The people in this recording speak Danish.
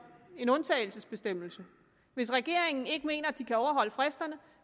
en undtagelsesbestemmelse hvis regeringen ikke mener at den kan overholde fristerne